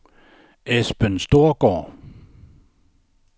Esben Storgaard